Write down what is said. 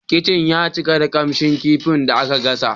Kicin ya cika da kamshin kifin da aka gasa.